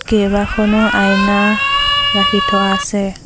কেইবাখনো আইনা ৰাখি থোৱা আছে।